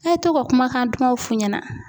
E ye to ka kumakan dumaw f'u ɲɛna.